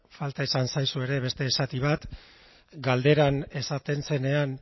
falta izan zaizu ere beste zati bat galderan esaten zenean